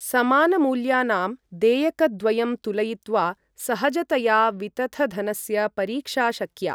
समानमूल्यानां देयकद्वयं तुलयित्वा सहजतया वितथधनस्य परीक्षा शक्या।